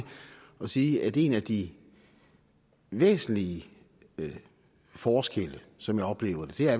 at sige at en af de væsentlige forskelle som jeg oplever det